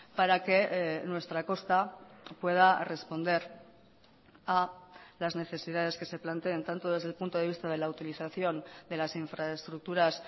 para que nuestra costa pueda responder a las necesidades que se planteen tanto desde el punto de vista de la utilización de las infraestructuras